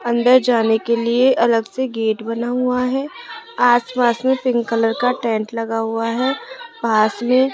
अंदर जाने के लिए अलग से गेट बना हुआ है आस पास में पिंक कलर का टेंट लगा हुआ है पास में